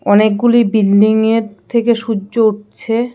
অনেকগুলি বিল্ডিংয়ের থেকে সূর্য উঠছে.